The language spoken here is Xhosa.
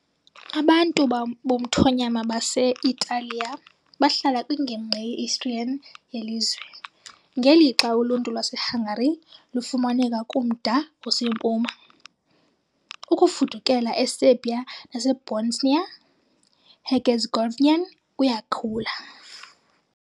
Abantu bomthonyama base -Italiya bahlala kwingingqi ye-Istrian yelizwe, ngelixa uluntu lwaseHungary lufumaneka kumda osempuma, Ukufudukela eSerbia naseBosnia -Herzegovinian kuyakhula.